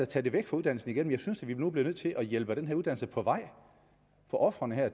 tage det væk fra uddannelsen igen men jeg synes vi nu bliver nødt til at hjælpe den her uddannelse på vej for ofrene her